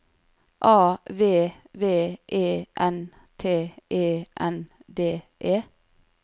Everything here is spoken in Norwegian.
A V V E N T E N D E